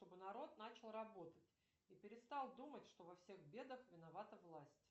чтобы народ начал работать и перестал думать что во всех бедах виновата власть